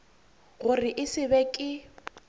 gore e se be ke